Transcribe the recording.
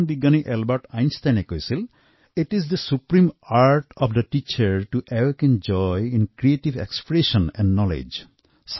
মহান বৈজ্ঞানিক এলবাৰ্ট আইনষ্টাইনে কৈছিল it is the supreme art of the teacher to awaken joy in creative expression and knowledge